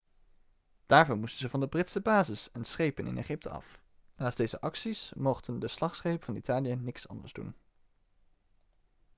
daarvoor moesten ze van de britse bases en schepen in egypte af naast deze acties mochten de slagschepen van italië niks anders doen